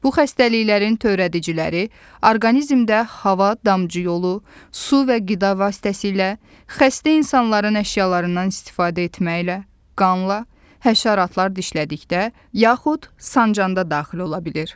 Bu xəstəliklərin törədiciləri orqanizmdə hava damcı yolu, su və qida vasitəsilə, xəstə insanların əşyalarından istifadə etməklə, qanla, həşəratlar dişlədikdə, yaxud sancanda daxil ola bilir.